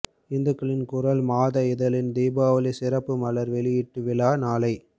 இந்துக்களின் குரல் மாத இதழின் தீபாவளிச் சிறப்புமலர் வெளியீட்டு விழா நாளை